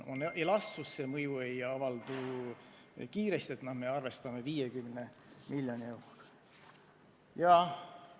Muudatuse mõju ei avaldu kiiresti, nii et me arvestame 50 miljoni euroga.